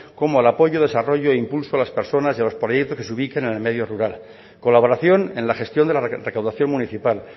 como el apoyo desarrollo e impulso a las personas y a los proyectos que se ubiquen en el medio rural colaboración en la gestión de la recaudación municipal